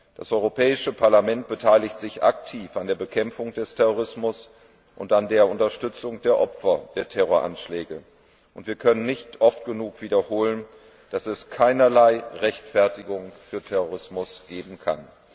Das Europäische Parlament beteiligt sich aktiv an der Bekämpfung des Terrorismus und an der Unterstützung der Opfer der Terroranschläge, und wir können nicht oft genug wiederholen, dass es keinerlei Rechtfertigung für Terrorismus geben kann.